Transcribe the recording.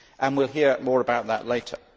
We will hear more about that later.